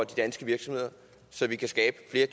de danske virksomheder så vi kan skabe